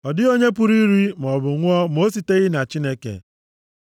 Ọ dịghị onye pụrụ iri maọbụ ṅụọ ma o siteghị na Chineke?